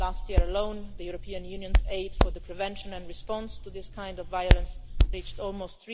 Last year alone, the European Union's aid for the prevention of, and response to, this kind of violence reached almost